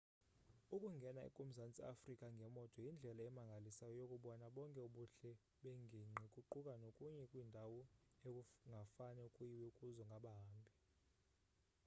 ukungena kumazantsi eafrika ngemoto yindlela emangalisayo yokubona bonke ubuhle bengingqi kuquka nokuya kwiindawo ekungafane kuyiwe kuzo ngabahambi